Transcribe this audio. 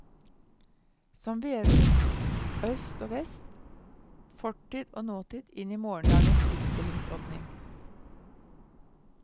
Som vever øst og vest, fortid og nåtid inn i morgendagens utstillingsåpning.